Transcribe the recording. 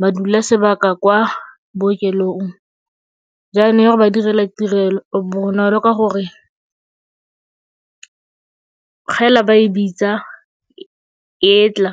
ba dule sebaka kwa bookelong. Jaanong e a go ba direla tirelo bonolo ka gore fela ba e bitsa, e e tla.